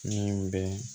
Min bɛ